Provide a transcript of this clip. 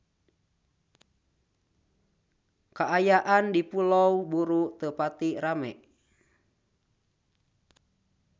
Kaayaan di Pulau Buru teu pati rame